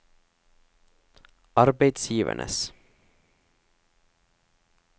arbeidsgivernes